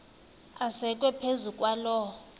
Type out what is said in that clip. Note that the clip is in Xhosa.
asekwe phezu kwaloo